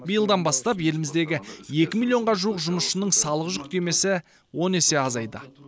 биылдан бастап еліміздегі екі миллионға жуық жұмысшының салық жүктемесі он есе азайды